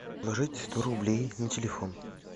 положить сто рублей на телефон